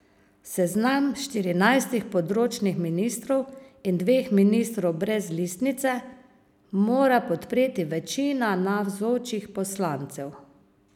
Seznam štirinajstih področnih ministrov in dveh ministrov brez listnice mora podpreti večina navzočih poslancev.